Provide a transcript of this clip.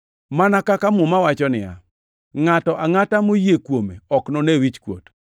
Mana kaka Muma wacho niya, “Ngʼato angʼata moyie kuome ok none wichkuot.” + 10:11 \+xt Isa 28:16\+xt*